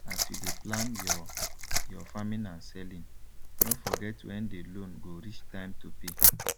as you dey plan your your farming and selling no forget when the loan go reach time to pay